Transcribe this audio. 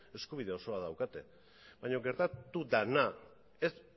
eskubide osoa daukate baina gertatu dena ez